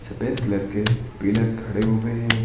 सफेद कलर के पिलर खड़े हुए हैं।